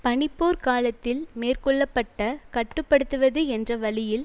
பனிப் போர் காலத்தில் மேற்கொள்ள பட்ட கட்டு படுத்துவது என்ற வழியில்